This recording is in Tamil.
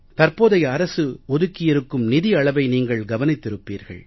தற்போதைய அரசு ஒதுக்கியிருக்கும் நிதி அளவை நீங்கள் கவனித்திருப்பீர்கள்